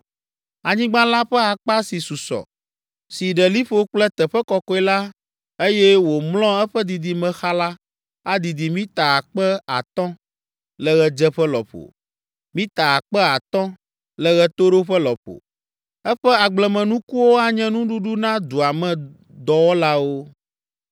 Anyigba la ƒe akpa si susɔ, si ɖe liƒo kple teƒe kɔkɔe la, eye wòmlɔ eƒe didime xa la, adidi mita akpe atɔ̃ (5,000) le ɣedzeƒe lɔƒo, mita akpe atɔ̃ (5,000) le ɣetoɖoƒe lɔƒo. Eƒe agblemenukuwo anye nuɖuɖu na dua me dɔwɔlawo.